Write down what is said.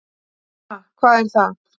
"""Ha, hvað er það?"""